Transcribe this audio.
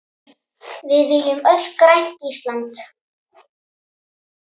Við viljum öll grænt Ísland.